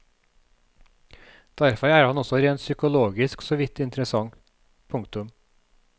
Derfor er han også rent psykologisk såvidt interessant. punktum